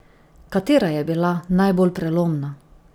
Katera je bila najbolj prelomna?